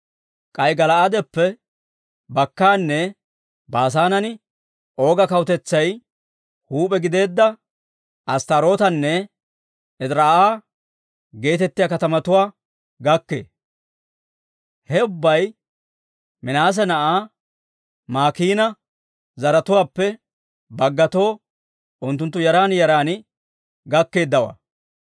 K'ay Gala'aadeppe bakkaanne Baasaanen Ooga kawutetsay huup'e gideedda Asttaarootanne Ediraa'a geetettiyaa katamatuwaa gakkee. He ubbay Minaase na'aa Maakiina zaratuwaappe baggatoo, unttunttu yaran yaran gakkeeddawaa.